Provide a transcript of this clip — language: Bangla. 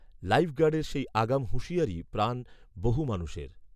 লাইফগার্ডের সেই আগাম হুঁশিয়ারিই প্রাণ বহু মানুষের